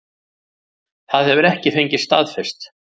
Það hefur ekki fengist staðfest